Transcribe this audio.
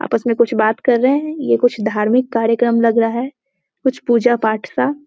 आपस में कुछ बात कर रहे है ये कुछ धार्मिक कार्यकम लग रहा है कुछ पूजा-पाठ का --